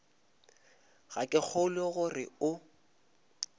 ga ke kgolwe gore o